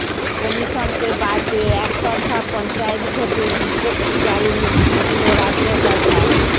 কমিশনকে বাদ দিয়ে একতরফা পঞ্চায়েত ভোটের বিজ্ঞপ্তি জারির হুমকি দিল রাজ্য সরকার